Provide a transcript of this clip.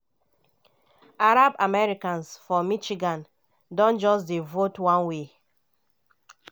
arab americans for michigan don just dey vote one way.